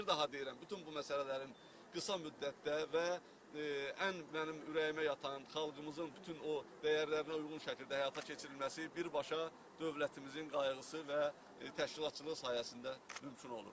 Bir daha deyirəm, bütün bu məsələlərin qısa müddətdə və ən mənim ürəyimə yatan, xalqımızın bütün o dəyərlərinə uyğun şəkildə həyata keçirilməsi birbaşa dövlətimizin qayğısı və təşkilatçılığı sayəsində mümkün olur.